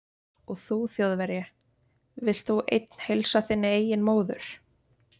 Og þú Þjóðverji, vilt þú einn heilsa þinni eigin móður